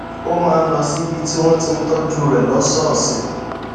ó máa ń lọ síbi tí wón ti ń tójú rè lósòòsè